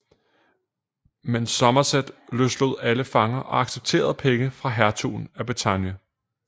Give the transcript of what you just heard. Men Somerset løslod alle fanger og accepterede penge fra hertugen af Bretagne